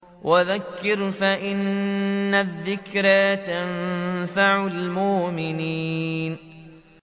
وَذَكِّرْ فَإِنَّ الذِّكْرَىٰ تَنفَعُ الْمُؤْمِنِينَ